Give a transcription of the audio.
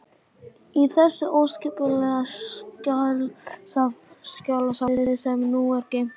Í þessu óskipulega skjalasafni, sem nú er geymt í kjallara